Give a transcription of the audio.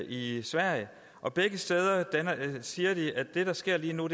i sverige og begge steder siger de at det der sker lige nu